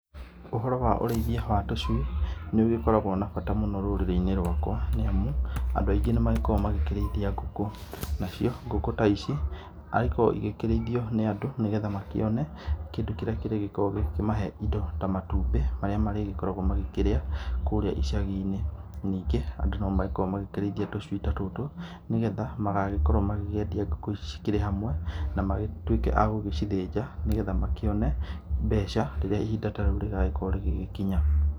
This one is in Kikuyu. Ũhoro wa ũrĩithia wa tũcui nĩ ũgĩkoragũo na bata rũrĩrĩ-inĩ rwakwa, nĩamu andũ aingĩ nĩ magĩkoragũo makĩrĩithia ngũkũ. Na cio ngũkũ ta ici agĩkorũo cikĩrĩithio nĩ andũ nĩgetha magĩkĩone kĩndũ kĩrĩa kĩrĩgĩkoragũo gĩkĩmahe indo ta, matumbĩ marĩa marĩgĩkoragũo magĩkĩrĩa kũrĩa icagi-inĩ. Ningĩ andũ nĩ magĩkoragũo makĩrĩithia tũcui ta tũtũ, nĩgetha magagĩkorũo magĩkĩendia ngũkũ ici cikĩrĩ hamwe na magĩtuĩke a gũgĩcithĩnja nĩgetha makĩone mbeca rĩrĩa ihinda ta rĩu rĩgagĩkorũo rĩgĩkinya.